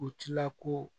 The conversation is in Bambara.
U tila ko